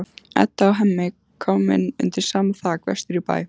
Edda og Hemmi komin undir sama þak vestur í bæ.